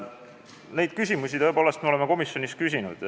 Neid küsimusi me oleme tõepoolest komisjonis küsinud.